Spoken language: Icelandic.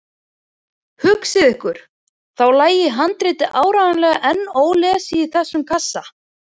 Hugsið ykkur, þá lægi handritið áreiðanlega enn ólesið í þessum kassa!